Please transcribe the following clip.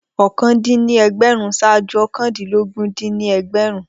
okòó dín ní ẹgbẹ̀rún ṣaaju òkàndínlógún dín ní ẹgbẹ̀rún